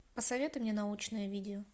посоветуй мне научное видео